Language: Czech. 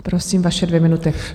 Prosím, vaše dvě minuty.